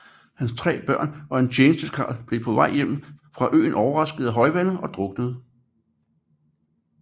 Hans 3 børn og en tjenestekarl blev på vej hjem fra øen overrasket af højvande og druknede